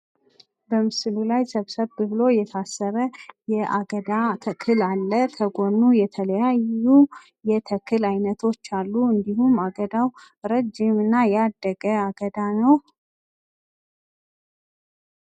በምስሉ ላይ ሰብሰብ ተብሎ የታሰረ የአገዳ ተክል አለ። ከጎኑ የተለያዩ የተክል አይነቶች አሉ። እንዲሁም አገዳው ረጅም እና ያደገ አገዳ ነው።